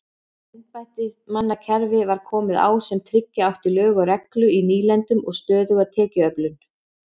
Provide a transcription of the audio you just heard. Embættismannakerfi var komið á sem tryggja átti lög og reglu í nýlendunum og stöðuga tekjuöflun.